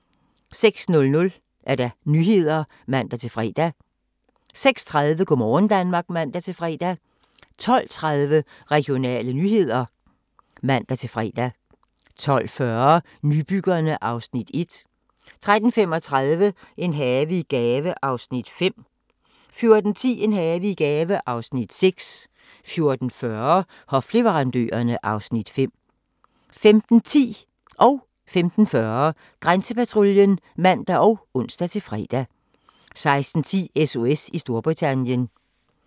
06:00: Nyhederne (man-fre) 06:30: Go' morgen Danmark (man-fre) 12:30: Regionale nyheder (man-fre) 12:40: Nybyggerne (Afs. 1) 13:35: En have i gave (Afs. 5) 14:10: En have i gave (Afs. 6) 14:40: Hofleverandørerne (Afs. 5) 15:10: Grænsepatruljen (man og ons-tor) 15:40: Grænsepatruljen (man og ons-fre) 16:10: SOS i Storbritannien